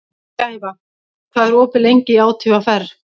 Gæfa, hvað er opið lengi í ÁTVR?